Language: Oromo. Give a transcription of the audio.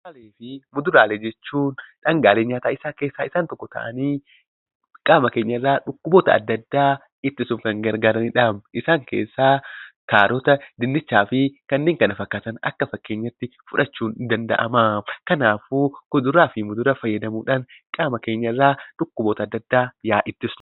Kuduraalee fi muduraalee jechuun dhangaalee ntaataa keessaa isaan tokko ta'anii qaama keenya irraa dhukkuboota adda addaa ittisuuf kan gargaarani dha. Isaan keessaa Kaarota, Dinnichaa fi kanneen kana fakkaatan akka fakkeenyaatti fudhachuun ni danda'ama. Kanaafuu kuduraa fi mudura fayyadamuudhaan qaama keenya irraa dhukkuboota adda addaa haa ittisnu.